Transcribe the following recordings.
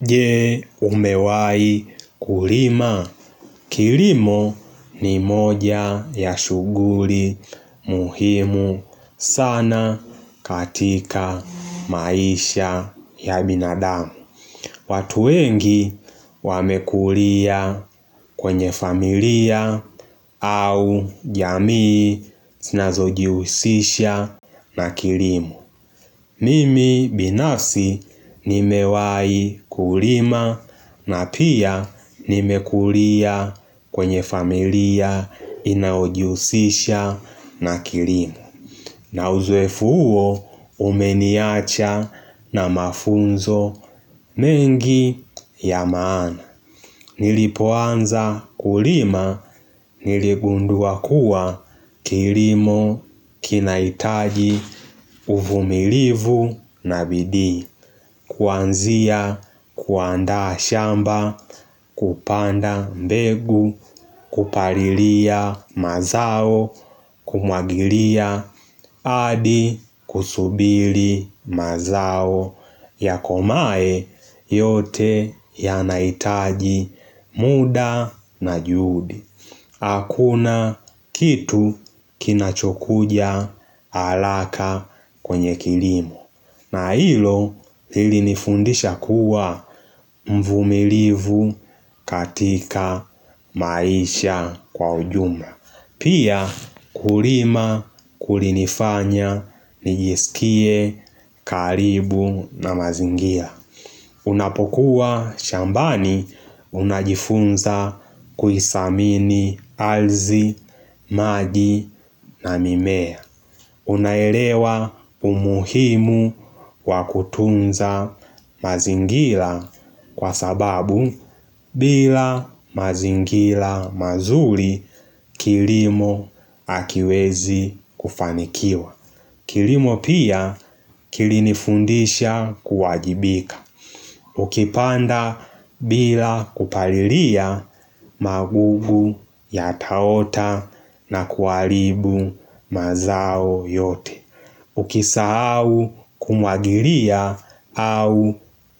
Je umewai kulima, kilimo ni moja ya shughuli muhimu sana katika maisha ya binadamu watu wengi wamekulia kwenye familia au jamii sinazo jihusisha na kilimo Mimi binafsi nimewai kulima na pia nimekulia kwenye familia inayojihusisha na kilimo na uzoefu huo umeniacha na mafunzo mengi ya maana. Nilipoanza kulima niligundua kuwa kilimo kinahitaji uvumilivu na bidii Kuanzia kuanda shamba kupanda mbegu kupalilia mazao kumwagilia adi kusubili mazao Yakomae yote yanaitaji muda na juhudi Hakuna kitu kinachokuja haraka kwenye kilimo na hilo lilinifundisha kuwa mvumilivu katika maisha kwa ujumla Pia, kulima, kulinifanya, nijisikie, karibu na mazingira. Unapokuwa shambani, unajifunza kuidhamini, ardhi, maji na mimea. Unaelewa umuhimu wa kutunza mazingira kwa sababu bila mazingira mazuri kilimo hakiwezi kufanikiwa. Kilimo pia kilinifundisha kuwajibika. Ukipanda bila kupalilia magugu yataota na kuharibu mazao yote. Ukisahau kumwagilia au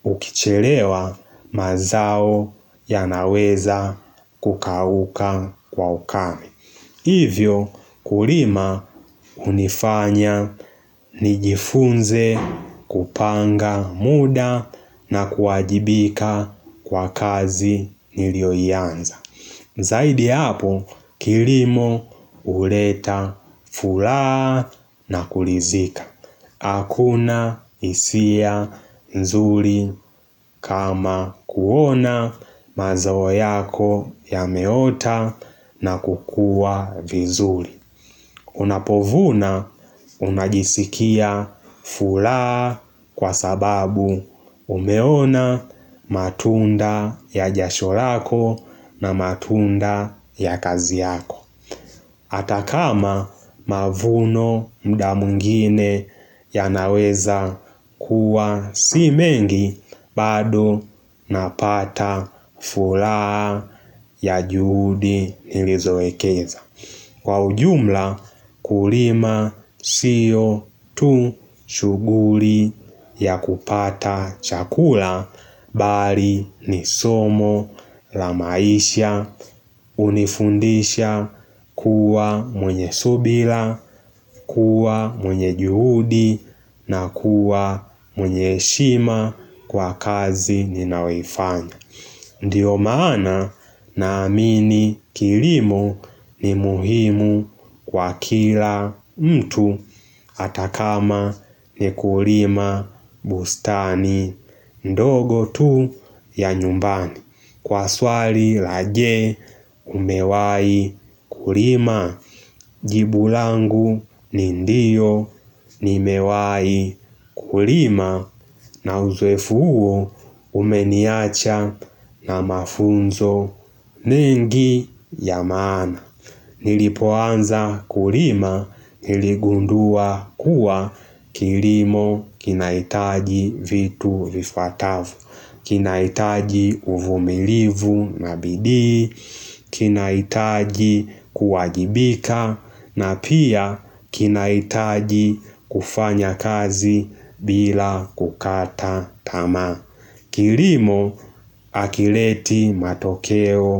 ukichelewa mazao yanaweza kukauka kwa ukame Hivyo kulima unifanya nijifunze kupanga muda na kuwajibika kwa kazi niliyoianza Zaidi ya hapo kilimo uleta furaha na kuridhika Hakuna hisia nzuri kama kuona mazao yako yameota na kukua vizuri. Unapovuna unajisikia furaha kwa sababu umeona matunda ya jasho lako na matunda ya kazi yako. hAta kama mavuno muda mwingine yanaweza kuwa si mengi bado napata furaha ya juhudi nilizo ekeza. Kwa ujumla kulima sio tu shughuli ya kupata chakula bali ni somo la maisha unifundisha kuwa mwenye subira, kuwa mwenye juhudi na kuwa mwenye heshima kwa kazi ninayoifanya. Ndio maana naamini kilimo ni muhimu kwa kila mtu hata kama ni kulima bustani ndogo tu ya nyumbani. Kwa swali la jee umewahi kulima jibu langu ni ndiyo nimewai kulima na uzoefu huo umeniacha na mafunzo mengi ya maana Nilipoanza kulima niligundua kuwa kilimo kinahitaji vitu vivyatavyo kinahitaji uvumilivu na bidii, kinahitaji kuwajibika na pia kinahitaji kufanya kazi bila kukata tamaa Kilimo hakileti matokeo.